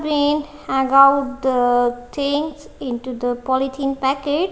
hangout the change into the polythene packet.